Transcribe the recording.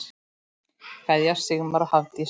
Kveðja, Sigmar og Hafdís.